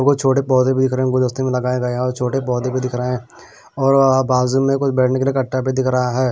कुछ छोटे पौधे भी दिख रहे हैं गुदस्ती में लगाए गए हैं और छोटे पौधे भी दिख रहे हैं और बाजू में कुछ बेड कट्टा भी दिख रहा है।